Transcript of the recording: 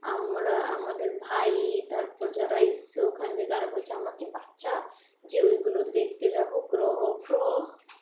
আমরা, আমাদের ভাই তারপর যারা এসছে ওখানে তারা বলছে আমরা কি বাচ্ছা, যে ওই গুলো দেখতে যাবো গ্রহ ফ্রহ।